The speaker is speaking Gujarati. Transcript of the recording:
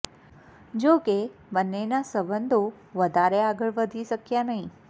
જો કે બંનેના સંબંધો વધારે આગળ વધી શક્યા નહીં